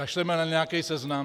Kašleme na nějaký seznam.